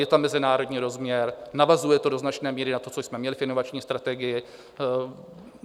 Je tam mezinárodní rozměr, navazuje to do značné míry na to, co jsme měli v inovační strategii.